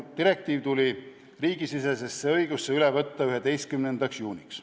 Direktiiv tuli riigisisesesse õigusesse üle võtta 11. juuniks.